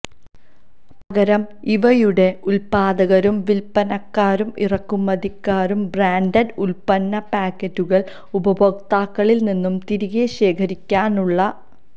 പകരം ഇവയുടെ ഉൽപാദകരും വിൽപനക്കാരും ഇറക്കുമതിക്കാരും ബ്രാൻഡഡ് ഉൽപന്ന പാക്കറ്റുകൾ ഉപഭോക്താക്കളിൽ നിന്നു തിരികെ ശേഖരിക്കാനുള്ള